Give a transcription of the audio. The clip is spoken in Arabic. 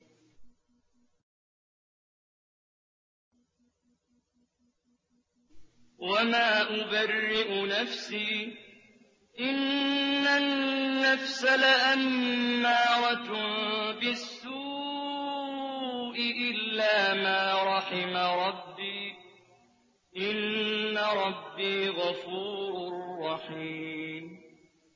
۞ وَمَا أُبَرِّئُ نَفْسِي ۚ إِنَّ النَّفْسَ لَأَمَّارَةٌ بِالسُّوءِ إِلَّا مَا رَحِمَ رَبِّي ۚ إِنَّ رَبِّي غَفُورٌ رَّحِيمٌ